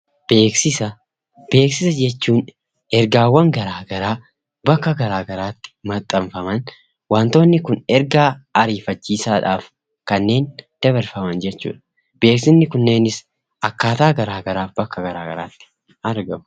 Beeksisa jechuun ergaawwan garaa garaa bakka garaa garaatti maxxanfaman. Waantonni kun ergaa ariifachiisaadhaaf kanneen dabarfaman jechuudha. Beeksisni kunneenis akkaataa garaa garaaf bakka garaa garaatti argamu.